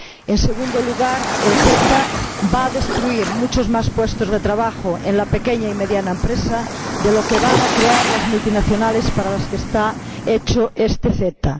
En segundo lugar, el CETA va a destruir muchos más puestos de trabajo en la pequeña y mediana empresa de los que van a crear las multinacionales, para las que está hecho este CETA.